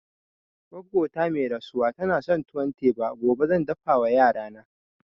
Goggo ta mai rasuwa tana son tuwon teba, gobe zan dafa wa yarana